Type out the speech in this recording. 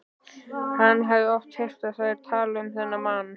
Hann hafði oft heyrt þær tala um þennan mann.